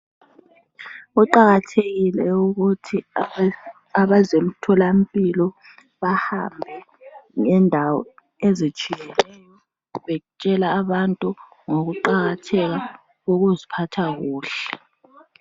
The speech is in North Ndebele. kuqakathekile ukuthi abezemtholampilo bahambe ngendawo ezitshiyeneyo betshela abantu ngokuqakatheka kokuziphatha kuhle